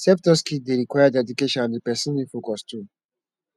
self taught skill de require dedication and di persin need focus too